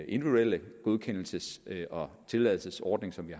individuelle godkendelses og tilladelsesordning som vi